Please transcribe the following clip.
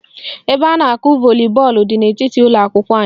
Ebe a na-akụ volibọọlụ dị n'etiti ụlọakwụkwọ anyị